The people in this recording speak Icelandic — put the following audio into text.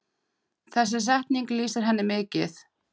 Þessi setning lýsir henni mikið.